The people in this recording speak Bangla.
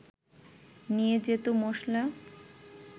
নিয়ে যেত মশলা